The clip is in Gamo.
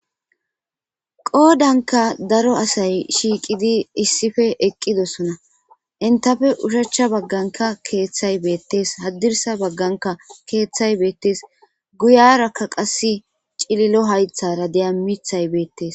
Qodanika daro asay shiqidi isipe eqidosona henitape ushach baganika kethay betes hadirisa bagan kethay betes guyaraka qas cililo hayithara de'eya mithay betes